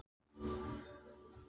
Það heyrðist vein fyrir aftan þau.